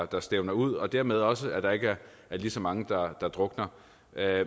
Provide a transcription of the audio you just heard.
der stævner ud og dermed også til at der ikke er lige så mange der drukner